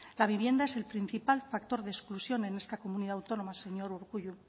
la vivienda es el principal factor de exclusión en esta comunidad autónoma señor urkullu